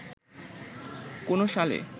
কোন সালে